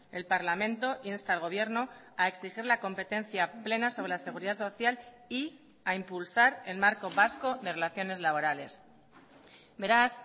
el parlamento insta al gobierno a exigir la competencia plena sobre la seguridad social y a impulsar el marco vasco de relaciones laborales beraz